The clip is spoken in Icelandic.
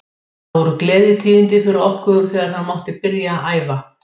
Okkar maður var á vellinum og er greinargóð umfjöllun um leikinn á leiðinni frá honum.